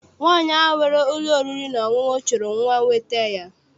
Nwaanyi ahụ nwere ụlọ oriri na ọṅụṅụ chụrụ nwa weta ya.